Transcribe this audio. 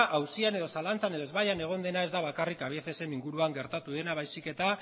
auzian edo zalantzan edo ezbaian egon dena ez da bakarrik cabiecesen inguruan gertatu dena baizik eta